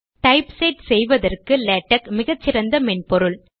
type set செய்வதற்கு LaTeX மிகச்சிறந்த மென்பொருள்